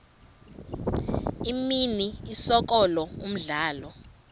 imini isikolo umdlalo